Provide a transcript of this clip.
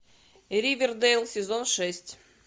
ривердейл сезон шесть